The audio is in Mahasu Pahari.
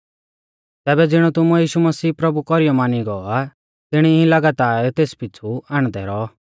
तैबै ज़िणौ तुमुऐ यीशु मसीह प्रभु कौरीयौ मानी गौ आ तिणी ई लगातार तेस पिछ़ु हाण्डदै रौऔ